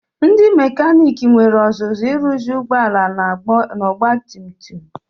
Ndị mekanik nwere ọzụzụ ịrụzi ụgbọala na ogbatumtum.